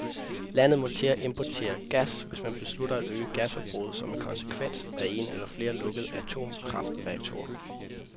Landet må til at importere gas, hvis man beslutter at øge gasforbruget som en konsekvens af en eller flere lukkede atomkraftreaktorer.